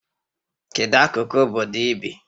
Kedu akụkụ obodo ị bi?